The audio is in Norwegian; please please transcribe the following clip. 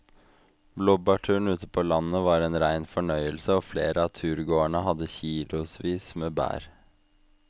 Blåbærturen ute på landet var en rein fornøyelse og flere av turgåerene hadde kilosvis med bær.